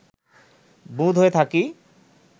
বুঁদ হয়ে থাকি